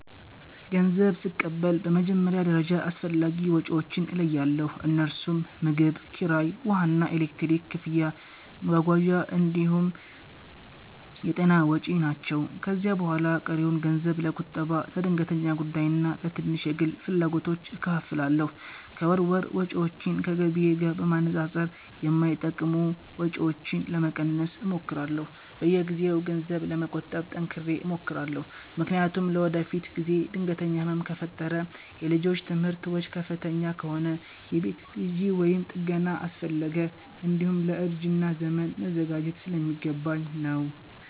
ገንዘብ ስቀበል በመጀመሪያ ደረጃ አስፈላጊ ወጪዎቼን እለያለሁ፤ እነርሱም ምግብ፣ ኪራይ፣ ውሃና ኤሌክትሪክ ክፍያ፣ መጓጓዣ እንዲሁም የጤና ወጪ ናቸው። ከዚያ በኋላ ቀሪውን ገንዘብ ለቁጠባ፣ ለድንገተኛ ጉዳይና ለትንሽ የግል ፍላጎቶች እከፋፍላለሁ። ከወር ወር ወጪዎቼን ከገቢዬ ጋር በማነጻጸር የማይጠቅሙ ወጪዎችን ለመቀነስ እሞክራለሁ። በየጊዜው ገንዘብ ለመቆጠብ ጠንክሬ እሞክራለሁ፤ ምክንያቱም ለወደፊት ጊዜ ድንገተኛ ህመም ከፈጠረ፣ የልጆች ትምህርት ወጪ ከፍተኛ ከሆነ፣ የቤት ግዢ ወይም ጥገና አስፈለገ፣ እንዲሁም ለእርጅና ዘመን መዘጋጀት ስለሚገባኝ ነው።